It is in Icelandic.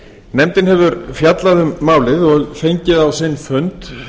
nefndin hefur fjallað um málið og fengið á sinn fund